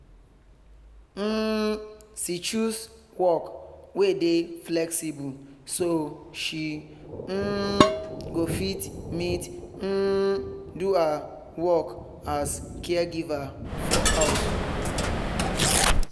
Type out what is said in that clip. um she choose work wey dey flexible so she um go fit meet um do her work as caregiver for house